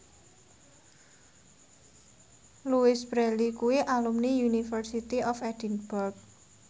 Louise Brealey kuwi alumni University of Edinburgh